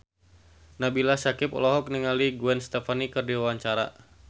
Nabila Syakieb olohok ningali Gwen Stefani keur diwawancara